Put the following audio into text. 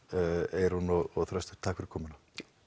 Eyrún og Þröstur takk fyrir komuna